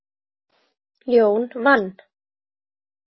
Jón vann.